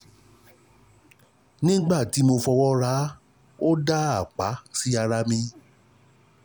Nígbà tí mo fi ọwọ́ ra á, ó dá apá sí ara mi